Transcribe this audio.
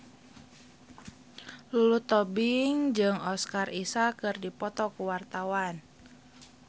Lulu Tobing jeung Oscar Isaac keur dipoto ku wartawan